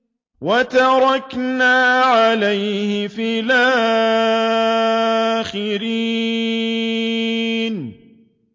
وَتَرَكْنَا عَلَيْهِ فِي الْآخِرِينَ